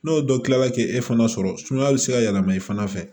N'o dɔ kilala k'e fana sɔrɔ sumaya bɛ se ka yɛlɛma i fana fɛ